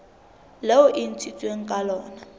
leo e ntshitsweng ka lona